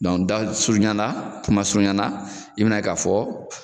dasurunyana kumasurunyana i bɛna ye ka fɔ